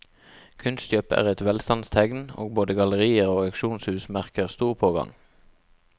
Kunstkjøp er et velstandstegn, og både gallerier og auksjonshus merker stor pågang.